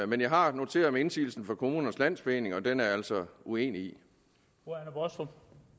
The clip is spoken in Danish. men jeg har noteret mig indsigelsen fra kommunernes landsforening og den er jeg altså uenig i